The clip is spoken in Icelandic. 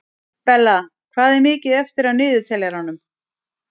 Bella, hvað er mikið eftir af niðurteljaranum?